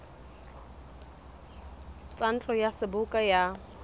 tsa ntlo ya seboka ya